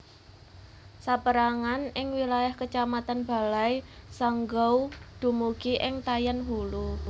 Sapérangan ing wilayah Kecamatan Balai Sanggau dumugi ing Tayan Hulu